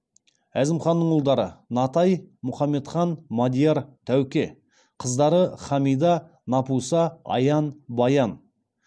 әзімханның ұлдары натай мұхамедхан мадияр тәуке қыздары хамида напуса аян баян